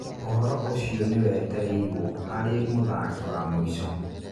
ũhoro ũcio nĩ wetereirwo harĩ mũthaki wa mũico.